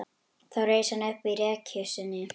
Þá reis hann upp í rekkju sinni.